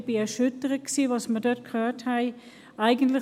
Ich war erschüttert darüber, was wir dort gehört haben.